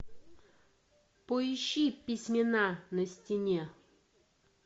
поищи письмена на стене